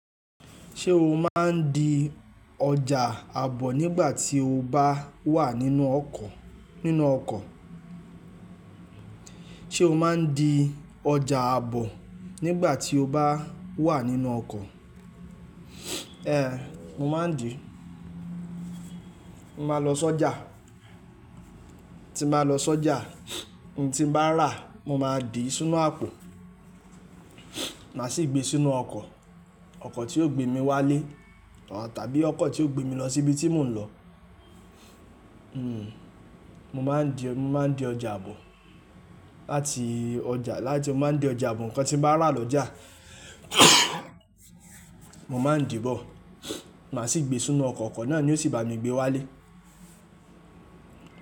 Ṣé o máa ń di ọjà àbọ̀ nígbà tí o bá wà nínú ọkọ̀? Sé o máa ń di ọjà àbọ̀ nígbà tí o bá wà nínú ọkọ̀? Ehn, mo máa ń di. Mo máa lọ sọ́jà, tí n bá lọ sọ́jà ohun tí n bá rà mo máa dì í sínú àpò, màá sì gbé e sínú ọkọ̀. Ọkọ̀ tí ó gbé mi wálé tàbí ọkọ̀ tí ó gbé mi lọ sí ibi tí mò ń lọ. Hmm, mo máa ń di, mo máa ń di ọjà àbọ̀. Láti ọjà, láti mo máa ń di ọjà àbọ̀ ǹkan tí n bá rà lọ́jà, mo máa ń dì bọ̀, màá sì gbé e sínú ọkọ̀. Ọkọ̀ náà ni ó sì bá mi gbé wálé.